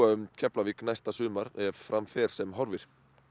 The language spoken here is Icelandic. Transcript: um Keflavík næsta sumar ef fram fer sem horfir